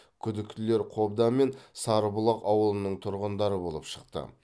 күдіктілер қобда мен сарыбұлақ ауылының тұрғындары болып шықты